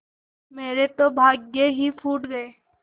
मेरे तो भाग्य ही फूट गये